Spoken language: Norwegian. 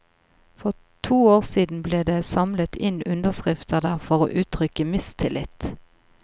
For to år siden ble det samlet inn underskrifter der for å uttrykke mistillit.